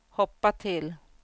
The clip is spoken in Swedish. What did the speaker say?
hoppa till